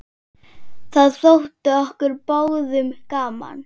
Það þótti okkur báðum gaman.